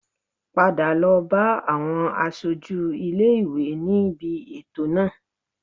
Padà lọ bá àwọn aṣojú ilé ìwé níbi ètò náà